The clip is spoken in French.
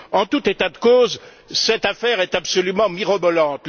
En tout état de cause, cette affaire est absolument mirobolante.